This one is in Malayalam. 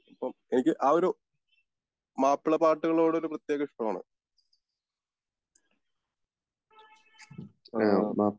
അപ്പോം എനിക്ക് ആ ഒരു മാപ്പിള പാട്ടുകളോട് ഒരു പ്രത്യേക ഇഷ്ടമാണ്. ആഹ്മ്